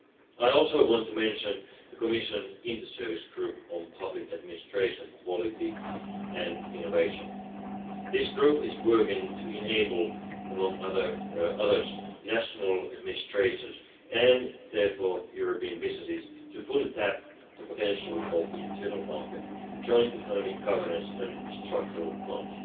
I also want to mention the Commission Inter Service Group on Public Administration Quality and Innovation. This group is working to enable, among others, national administrations, and therefore European businesses, fully to tap the potential of the internal market, joint economic governance and the structural funds.